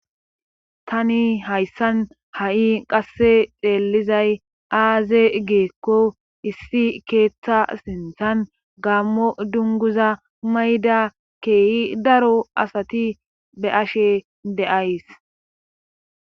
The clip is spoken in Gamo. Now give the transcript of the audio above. tani hayssan ha7i qasse xeellizay aaze geekko issi keeththa sinthan gammo dunguza mayda keehi daro asati be ashe deays